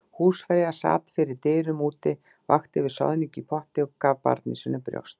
Húsfreyja sat fyrir dyrum úti, vakti yfir soðningu í potti og gaf barni sínu brjóst.